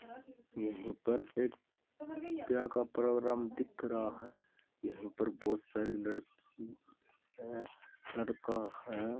यहीं पर एक ब्याह का प्रोग्राम दिख रहा है यहीं पर बहुत सारी लड़की हैं लड़का हैं।